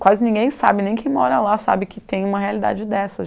Quase ninguém sabe, nem quem mora lá sabe que tem uma realidade dessa.